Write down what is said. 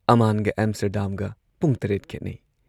ꯑꯃꯥꯟꯒ ꯑꯦꯝꯁꯇꯔꯗꯥꯝꯒ ꯄꯨꯡ ꯇꯔꯦꯠ ꯈꯦꯠꯅꯩ ꯫